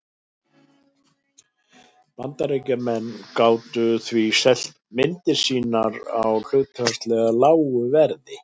Bandaríkjamenn gátu því selt myndir sínar á hlutfallslega lágu verði.